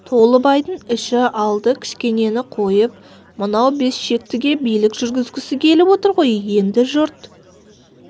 толыбайдың іші алды кішкенені қойып мынау бес шектіге билік жүргізгісі келіп отыр ғой енді жұрт